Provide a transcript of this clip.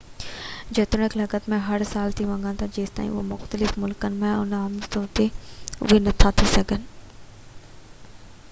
جيتوڻيڪ لکت ۾ اهي هر سال ٿي سگهن ٿا جيستائين اهي مختلف ملڪن ۾ آهن، عملي طور تي اهي نٿا ٿي سگهن